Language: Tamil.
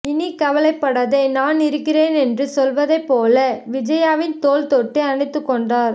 இனி கவலைப்படாதே நான் இருக்கிறேன் என்று சொல்வதைப்போல விஜயாவின் தோள் தொட்டு அணைத்துக்கொண்டார்